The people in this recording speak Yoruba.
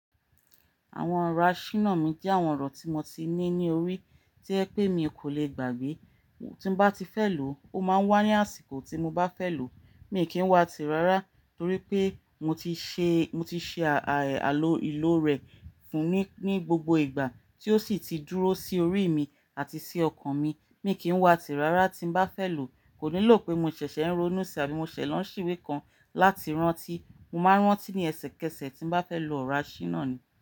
Àwọn ọ̀rọ̀ aṣínà mi jẹ́ àwọn ọ̀rọ̀ tí mo ti ní ní orí, tí ẹ pé mi kò le gbàgbé. Tí nbá ti fẹ́ lòó{, ó máa ń wá ní àsìkò tí mo bá fẹ́ lò ó. Mi kì í wá tì rárá torí pé mo ti ṣe, mo ti ṣe ààà àlò ilò rẹ fún ní, ní gbogbo ìgbà tí ó sì ti dúró sí orí mi àti sí ọkàn mi. Mi kì í wá tìrárá tí bá fẹ́ lòó. Kò nílò pé mo ṣẹ̀ṣẹ̀ ń ronú sí abí mó ṣẹ̀ lọ nsí ìwé kan láti rántí. Mo máa ń rántí ní ẹsẹ kẹsẹ tí bá fẹ́ lo ọ̀rọ̀ aṣínà mi.